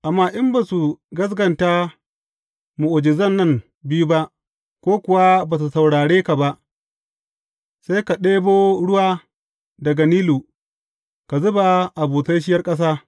Amma in ba su gaskata mu’ujizan nan biyu ba, ko kuwa ba su saurare ka ba, sai ka ɗibo ruwa daga Nilu, ka zuba a busasshiyar ƙasa.